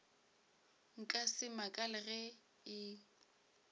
nka se makale ge e